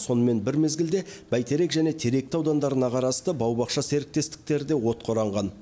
сонымен бір мезгілде бәйтерек және теректі аудандарына қарасты бау бақша серіктестіктері де отқа оранған